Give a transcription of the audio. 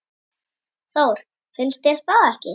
Þór, finnst þér það ekki?